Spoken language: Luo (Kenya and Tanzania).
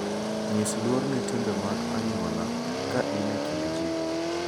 Nyis luor ne timbe mag anyuola ka in e kind ji.